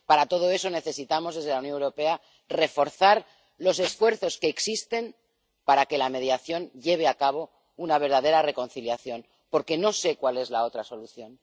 para todo eso, necesitamos, desde la Unión Europea, reforzar los esfuerzos que existen para que la mediación lleve a una verdadera reconciliación, porque no sé cuál es la otra solución.